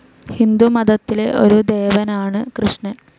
ഹിന്ദുമതത്തിലെ ഒരു ദേവനാണ് കൃഷ്ണൻ.